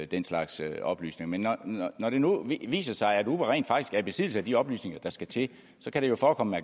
den slags oplysninger men når det nu viser sig at uber rent faktisk er i besiddelse af de oplysninger der skal til kan det jo forekomme